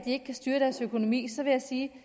ikke kan styre deres økonomi så vil jeg sige